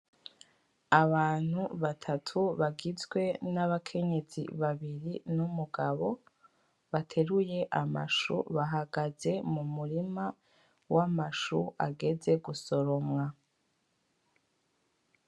Abantu batatu bagizwe n'abakenyezi babiri n'umugabo, bateruye amashu. Bahagaze mu murima w'amashu ageze gusoromwa.